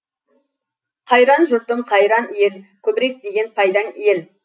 қайран жұртым қайран ел көбірек тиген пайдаң ел